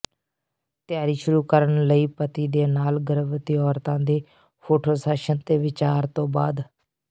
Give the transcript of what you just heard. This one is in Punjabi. ਤਿਆਰੀ ਸ਼ੁਰੂ ਕਰਨ ਲਈ ਪਤੀ ਦੇ ਨਾਲ ਗਰਭਵਤੀ ਔਰਤਾਂ ਦੇ ਫੋਟੋਸ਼ਾਸਨ ਦੇ ਵਿਚਾਰ ਤੋਂ ਬਾਅਦ